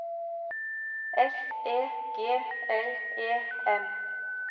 S E G L E M